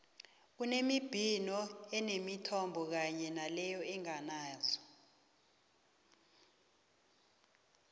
kunembhino eneenthombe kanye naleyo enganazo